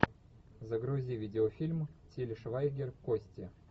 загрузи видеофильм тиля швайгер кости